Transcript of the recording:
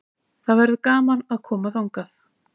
Það verður gaman að koma þangað.